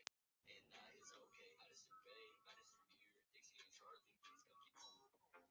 Marselína, hvaða myndir eru í bíó á föstudaginn?